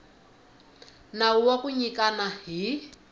nawu wa ku nyikana hi